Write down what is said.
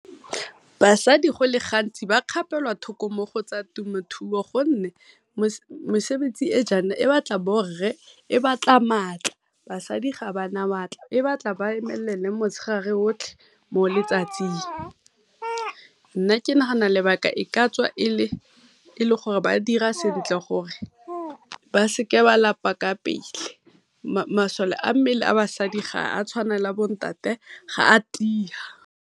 Basadi go le gantsi ba kgapelwa thoko mo go tsa temothuo gonne mesebetsi e jaana e batla bo rre e batla maatla, basadi ga ba na maatla. E batla ba emelele motshegare otlhe mo letsatsing. Nna ke nagana lebaka e ka tswa e le gore ba dira sentle gore ba seke ba lapa ka pele, masole a mmele a basadi ga a tshwane le a bo ntate ga a tia.